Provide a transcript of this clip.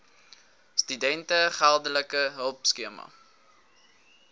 studente geldelike hulpskema